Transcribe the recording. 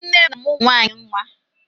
Nne m na-amụ́ ụmụ nwaanyị nwa.